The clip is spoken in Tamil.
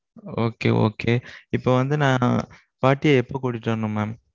okay okay. இப்போ வந்து நான் பாட்டிய எப்போ கூட்டிட்டு வரணும் mam?